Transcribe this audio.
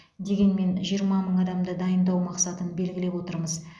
дегенмен жиырма мың адамды дайындау мақсатын белгілеп отырмыз